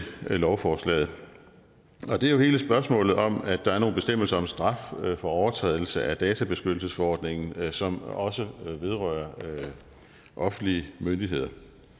lovforslagene og det er hele spørgsmålet om at der er nogle bestemmelser om straf for overtrædelse af databeskyttelsesforordningen som også vedrører offentlige myndigheder